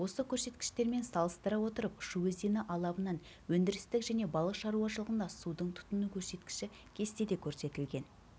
осы көрсеткіштермен салыстыра отырып шу өзені алабынан өндірістік және балық шаруашылығында судың тұтыну көрсеткіші кестеде көрсетілген